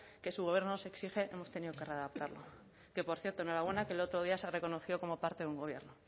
que su gobierno nos exige hemos tenido que readaptarla que por cierto enhorabuena que el otro día se ha reconocido como parte de un gobierno